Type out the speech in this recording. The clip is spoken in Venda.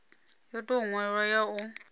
yo tou nwalwaho ya u